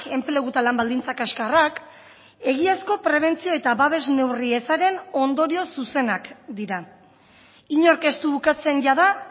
enplegu eta lan baldintza kaxkarrak egiazko prebentzio eta babes neurri ezaren ondorio zuzenak dira inork ez du ukatzen jada